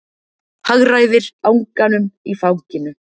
Hagræðir anganum í fanginu.